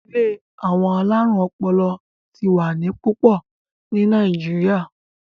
ilé àwọn alarun ọpọlọ tí wá ní pupo ní Nàìjíríà